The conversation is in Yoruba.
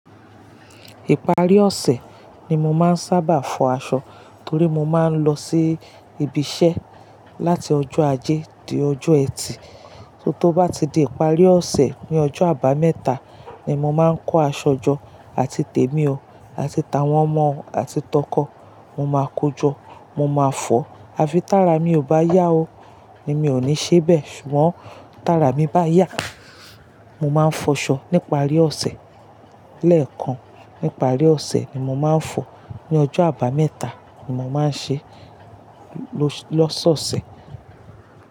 Ìparí ọ̀sẹ̀ ni mo máa ń sábà fọ aṣọ torí mo máa ń lọ sí ibi iṣẹ́ láti ọjọ́ ajé di ọjọ́ ẹtì. To bá ti di ìparí ọ̀sẹ̀, ni ọjọ́ àbámẹ́ta ni mo máa ń kó aṣọ jọ àti tèmi o àti tà wọn mọ àti tọkọ. Mo máa kojọ́, mo máa fọ̀. Àfi tààrà mi ò bá yá o ni mi ò ní ṣe bẹ. Ṣùgbọ́n tààrà mi bá yá, mo máa n fọṣọ níparí ọ̀sẹ̀. Lẹ́ẹ̀kan níparí ọ̀sẹ̀ ni mo máa ń fọ. Ni ọjọ́ àbámẹ́ta ni mo máa ń ṣe lọ́sọ̀ọ̀sẹ̀.